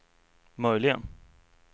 möjligen